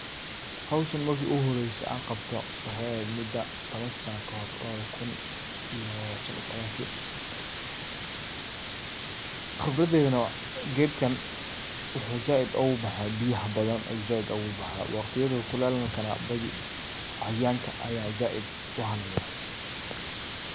Xowshaan marki iguxoreyse an qabto waxay exed muda tawan sana kahor lawada ku iyo shan iyo tawanki, qibradeyna nah gedkan, wuxu zaid ugubaxa biyaha badan ayu zaid ugubaxa, wagtiyada kulelka nah badhii cayayanka aya zaid uxaleya.